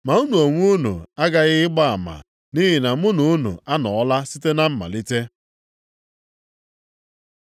Ma unu onwe unu aghaghị ịgba ama, nʼihi na mụ na unu anọọla site na mmalite.